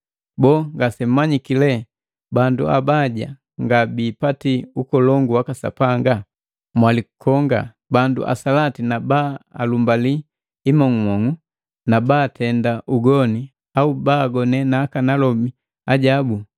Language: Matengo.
Boo ngasemmanyiki lee bandu abaja nga biipati ukolongu waka Sapanga? Mwalikonga! Bandu asalati na baalumbali imong'umong'u na baatenda ugoni au baagone nakanalomi ajabu,